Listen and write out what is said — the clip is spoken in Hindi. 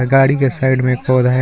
गाड़ी के साइड एक में पौधा है।